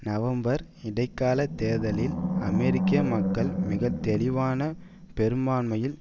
November இடைக்கால தேர்தல்களில் அமெரிக்க மக்கள் மிகத்தெளிவான பெருமான்மையில்